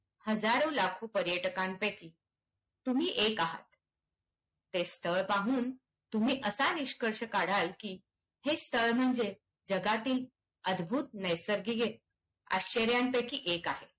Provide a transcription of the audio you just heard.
हजारो, लाखो पर्यटकांपैकी तुम्ही एक आहात. ते स्थळ पाहून तुम्ही असा निष्कर्ष काढाल की हे स्थळ म्हणजे जगातील अद्भुत नैसर्गिक आश्चर्यांपैकी एक आहे.